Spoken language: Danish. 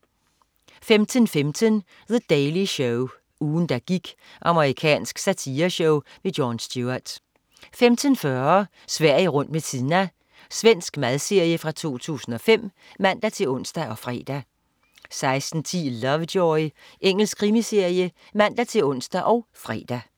15.15 The Daily Show. Ugen der gik. Amerikansk satireshow. Jon Stewart 15.40 Sverige rundt med Tina. Svensk madserie fra 2005 (man-ons og fre) 16.10 Lovejoy. Engelsk krimiserie (man-ons og fre)